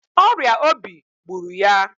Ọrịa obi gbụrụ ya.